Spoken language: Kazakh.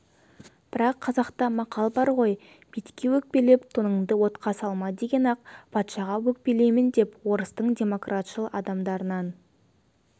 бірақ қазақта мақал бар ғой битке өкпелеп тоныңды отқа салма деген ақ патшаға өкпелеймін деп орыстың демократшыл адамдарынан